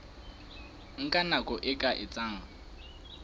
nka nako e ka etsang